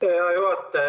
Hea juhataja!